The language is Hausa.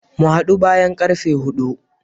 Mu hadu bayan karfe hudu.